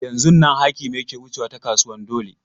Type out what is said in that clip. Yanzun nan Hakimi yake wucewa ta kasuwan dole.